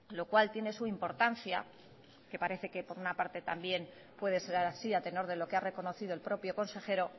lo cual tiene su importancia que parece que por una parte también puede ser así a tenor de lo que ha reconocido el propio consejero